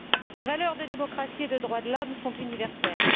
Les valeurs de démocratie et de droits de l'homme sont universelles.